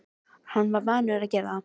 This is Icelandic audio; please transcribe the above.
Hann var vanur að gera það.